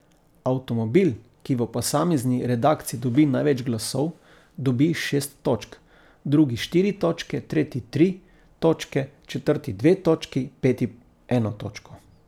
Avtomobil, ki v posamezni redakciji dobi največ glasov, dobi šest točk, drugi štiri točke, tretji tri točke, četrti dve točki, peti eno točko.